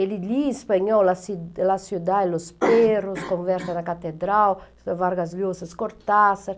Ele lia espanhol, La Ci La Ciudad y los Perros, Conversa na Catedral, Vargas Llosa, Cortázar.